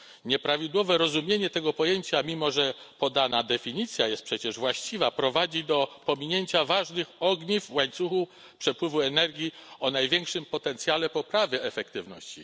Nieprawidłowe rozumienie tego pojęcia, mimo że podana definicja jest właściwa, prowadzi do pominięcia ważnych ogniw w łańcuchu przepływu energii o największym potencjale poprawy efektywności.